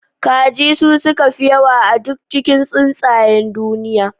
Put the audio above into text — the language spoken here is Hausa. Kaji su suka fi yawa a cikin duk tsuntsayen duniya